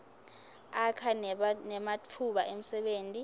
akha nematfuba emsebenti